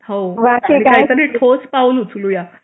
हो आणि काहीतरी ठोस पाऊल उचलू या